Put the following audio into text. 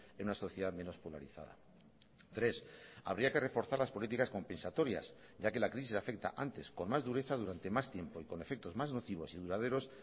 en una sociedad menos polarizada tres habría que reforzar las políticas compensatorias ya que la crisis afecta antes con más dureza durante más tiempo y con efectos más nocivos y duraderos